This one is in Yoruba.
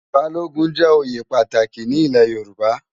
Bálógùn jè óyé pàtáki ni ilè Yoruba